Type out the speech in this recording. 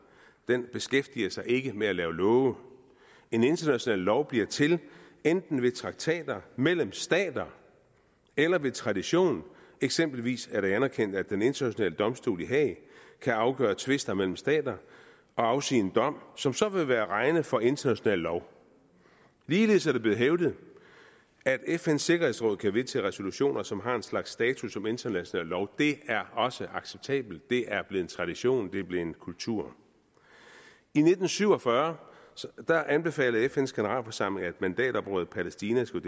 den beskæftiger sig ikke med at lave love en international lov bliver til enten ved traktater mellem stater eller ved tradition eksempelvis er det anerkendt at den internationale domstol i haag kan afgøre tvister mellem stater og afsige en dom som så vil være at regne for international lov ligeledes er det blevet hævdet at fns sikkerhedsråd kan vedtage resolutioner som har en slags status som international lov det er også acceptabelt det er blevet en tradition det er blevet kultur i nitten syv og fyrre anbefalede fns generalforsamling at mandatområdet palæstina skulle